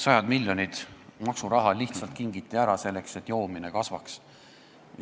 Sajad miljonid maksuraha lihtsalt kingiti ära, selleks et joomine kasvaks.